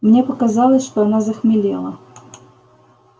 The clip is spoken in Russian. мне показалось что она захмелела